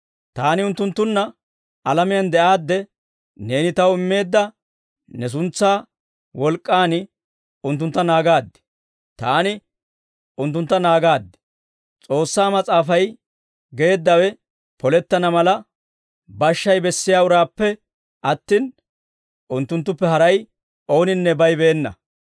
Taani unttunttunna alamiyaan de'aadde, neeni Taw immeedda ne suntsaa wolk'k'an unttuntta naagaad. Taani unttuntta naagaad; S'oossaa Mas'aafay geeddawe polettana mala, bashshay bessiyaa uraappe attin, unttunttuppe haray ooninne baybeena.